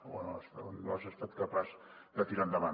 o no has estat capaç de tirar endavant